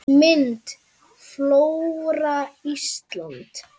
Mynd: Flóra Íslands